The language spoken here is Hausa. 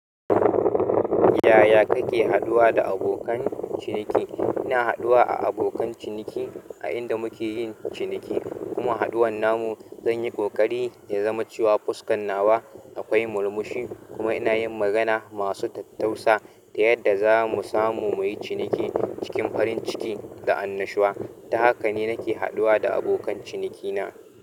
Yaya kake haɗuwa da abokan ciniki? Ina haduwa a abokan ciniki a inda muke yin ciniki, kuma haɗuwan namu zan yi ƙoƙari ya zama cewa fuskan nawa akwai murmushi kuma ina yin magana masu tattausa ta yadda za mu samu muyi ciniki cikin farin ciki da annashuwa. Ta haka ne nake haduwa da abokan cinikina.